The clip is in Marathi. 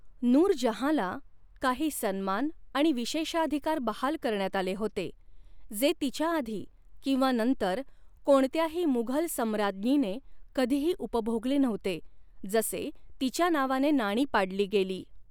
नूरजहाँला काही सन्मान आणि विशेषाधिकार बहाल करण्यात आले होते, जे तिच्या आधी किंवा नंतर कोणत्याही मुघल सम्राज्ञीने कधीही उपभोगले नव्हते, जसे तिच्या नावाने नाणी पाडली गेली.